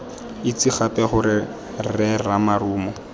itse gape gore rre ramarumo